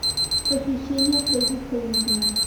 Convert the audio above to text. похищение фредди хайнекена